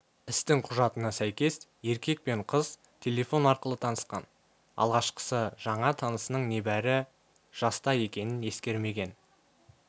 істің құжатына сәйкес еркек пен қыз телефон арқылы танысқан алғашқысы жаңа танысының небәрі жаста екенін ескермеген